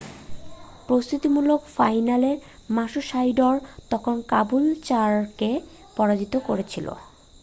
প্রস্তুতিমূলক ফাইনালে মারুশাইডোর তখন কাবুলচারকে পরাজিত করেছিল